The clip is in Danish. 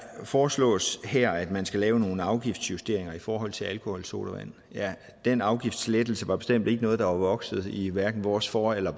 foreslås her at man skal lave nogle afgiftsjusteringer i forhold til alkoholsodavand ja den afgiftslettelse var bestemt ikke noget der var vokset i hverken vores for eller